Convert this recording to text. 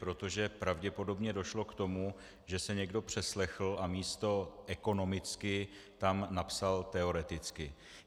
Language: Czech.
Protože pravděpodobně došlo k tomu, že se někdo přeslechl a místo "ekonomicky" tam napsal "teoreticky".